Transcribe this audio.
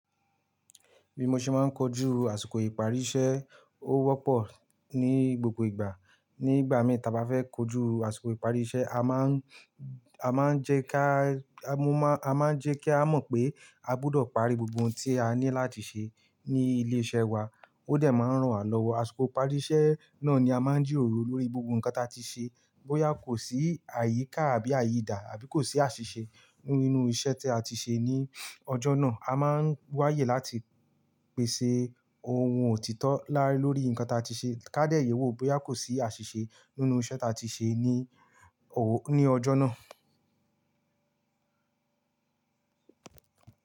Bí mo ṣe máa ń kojú àsìkò ìparí iṣẹ́, ó wọ́pọ̀ ní gbogbo ìgbà. Nígbà mì ta a bá fẹ́ kojú àsìkò ìparí iṣẹ́, a máa ń jẹ́ ká mọ̀ pé a gbọdọ̀ parí gbogbo ohun tí a ní láti ṣe ní ilé-iṣẹ́ wa. Ó dẹ̀ máa ń ran wa lọ́wọ́. Àsìkò ìparí iṣẹ́, náà ni a máa ń jìròrò lórí gbogbo nǹkan tí a ti ṣe. Bóyá kò sí àyíká àbí àyíidà àbí kò sí àṣìṣe nínú iṣẹ́ tí a ti ṣe ní ọjọ́ náà, a máa ń wáyè láti pèsè ohun òtítọ́ lórí nǹkan tí a ti ṣe, ká dẹ̀ yé wò bóyá kò sí àṣìṣe nínú iṣẹ́ tí a ti ṣe ní ọjọ́ náà.